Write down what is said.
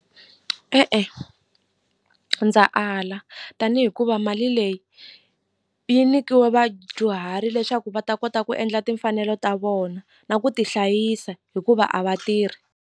E-e ndza ala tani hikuva mali leyi yi nikiwe vadyuhari leswaku va ta kota ku endla timfanelo ta vona na ku ti hlayisa hikuva a va tirhi.